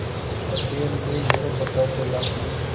उस अध्ययन में यह पता चला कि